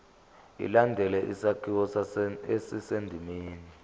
ilandele isakhiwo esisendimeni